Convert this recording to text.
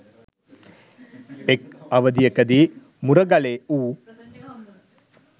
එක් අවධියකදී මුරගලේ වු